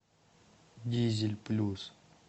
дизель плюс